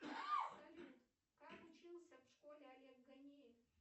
салют как учился в школе олег ганеев